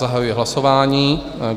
Zahajuji hlasování.